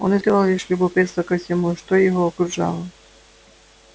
он испытывал лишь любопытство ко всему что его окружало